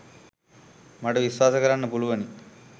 මට විශ්වාස කරන්න පුළුවනි.